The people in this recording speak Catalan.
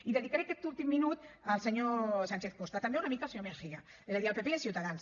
i dedicaré aquest últim minut al senyor sánchez costa i també una mica al senyor mejía és a dir al pp i a ciutadans